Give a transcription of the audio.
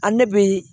Ani ne bɛ